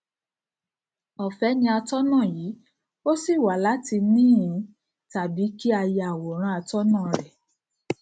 ọfẹ ní atọnà yìí o sì wà láti nihin tàbí kí a ya àwòrán atọnà rẹ